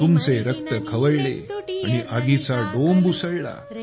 तुमचे रक्त खवळले आणि आगीचा डोंब उसळला